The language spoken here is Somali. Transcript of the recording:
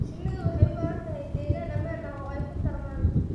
Shinnidu waxay u baahan tahay deegaan ammaan ah oo ay ku tarmaan.